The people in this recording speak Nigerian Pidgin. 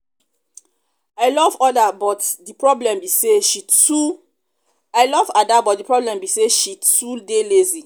i love oda but the problem be say she too i love ada but the problem be say she too dey lazy